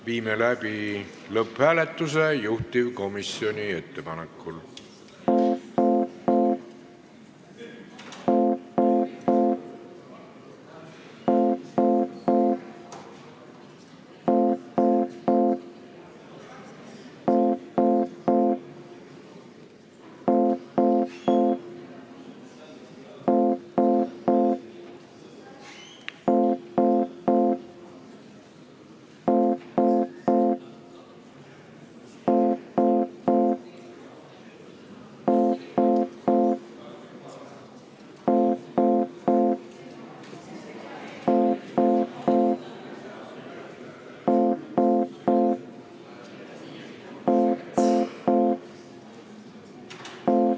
Viime juhtivkomisjoni ettepanekul läbi lõpphääletuse.